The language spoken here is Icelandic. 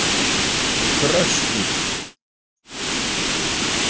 Þröstur